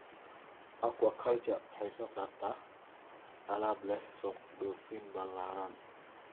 Aquaculture waxay soo saartaa alaab leh suuq dhoofin ballaaran.